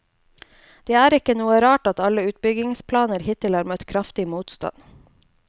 Det er ikke noe rart at alle utbyggingsplaner hittil har møtt kraftig motstand.